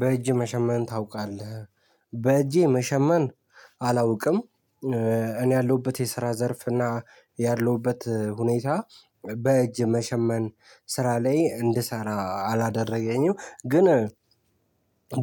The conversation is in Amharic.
በእጅ መሸመን ታውቃለህ? በእጄ መሸመን አላውቅም። እኔ ያለሁበት የስራ ዘርፍ እና ያለሁበት ሁኔታ በእጅ መሸመን ስራ ላይ እንድሰራ አላደረገኝም። ግን